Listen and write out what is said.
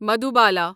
Madhubala